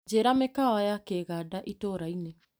Njĩra mĩkawa ya Kĩganda itũra-inĩ .